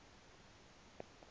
zela kude kube